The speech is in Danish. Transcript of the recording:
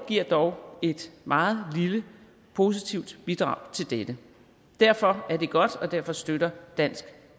giver dog et meget lille positivt bidrag til dette derfor er det godt og derfor støtter dansk